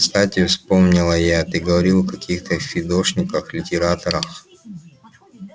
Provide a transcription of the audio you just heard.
кстати вспомнила я ты говорил о каких-то фидошниках-литераторах